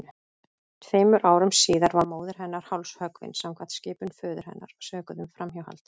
Tveimur árum síðar var móðir hennar hálshöggvin samkvæmt skipun föður hennar, sökuð um framhjáhald.